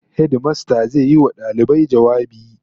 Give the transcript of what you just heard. Hedimasta zai yi wa dalibai jawabi